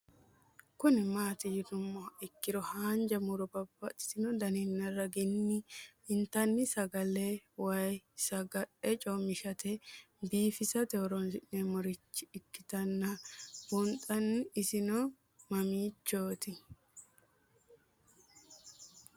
Kuni mati yinumoha ikiro hanja muroni babaxino daninina ragini intani sagale woyi sagali comishatenna bifisate horonsine'morich ikinota bunxana isino mamichot?